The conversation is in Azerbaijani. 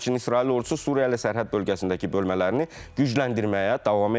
Həmçinin İsrail ordusu Suriya ilə sərhəd bölgəsindəki bölmələrini gücləndirməyə davam edir.